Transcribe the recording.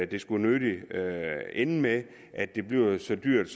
det skulle nødig ende med at det bliver så dyrt